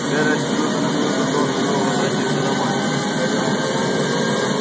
джералд с минуты на минуту должен был возвратиться домой